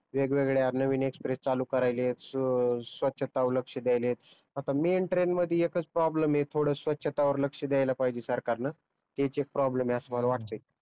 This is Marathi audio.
वेगवेगळ्या नवीन एक्ष्प्रेस चालू करायलेत स्वचता वर लक्ष्य ध्यायलेत आता मेन ट्रेन मध्ये एकच प्रोब्लेम आहे थोडस छटा वर लक्ष्य दयायल पाहिजे सरकार न तेच एक प्रोब्लेम आहे अस मला वाटत